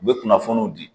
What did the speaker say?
U bɛ kunnafoniw di